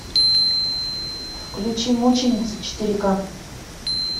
включи мученица четыре ка